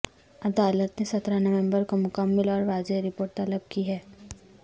عدالت نے سترہ نومبر کو مکمل اور واضح رپورٹ طلب کی ہے